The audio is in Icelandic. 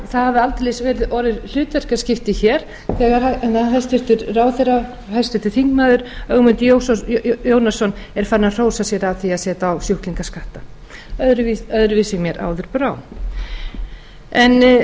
það hafa því aldeilis orðið hlutverkaskipti hér þegar hæstvirtur ráðherra og háttvirtur þingmaður ögmundur jónasson er farinn að hrósa sér af því að setja á sjúklingaskatta öðruvísi mér áður brá